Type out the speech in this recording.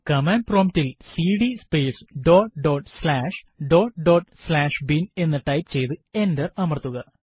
command prompt ൽ CD space dot dot slash dot dot slash bin എന്ന് type ചെയ്തു enter അമർത്തുക